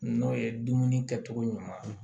N'o ye dumuni kɛ cogo ɲuman